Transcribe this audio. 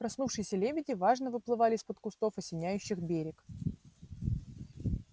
проснувшиеся лебеди важно выплывали из-под кустов осеняющих берег